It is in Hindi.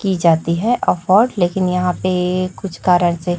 की जाती है और लेकिन यहां पे कुछ कारण से--